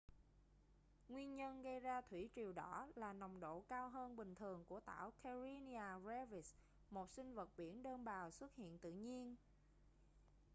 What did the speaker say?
nguyên nhân gây ra thủy triều đỏ là nồng độ cao hơn bình thường của tảo karenia brevis một sinh vật biển đơn bào xuất hiện tự nhiên